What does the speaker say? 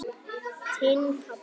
Þinn, pabbi.